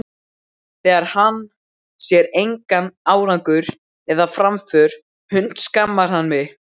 Þegar hann sér engan árangur eða framför hundskammar hann mig.